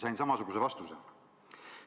Sain samasuguse vastuse.